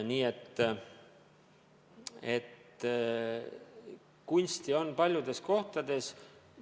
Nii et kunsti on paljudes kohtades.